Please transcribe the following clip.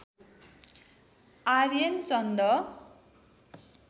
Aryan Chand